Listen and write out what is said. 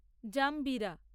জাম্বিরা